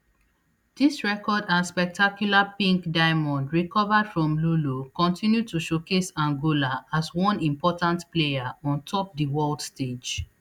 dis record and spectacular pink diamond recovered from lulo continue to showcase angola as one important player ontop di world stage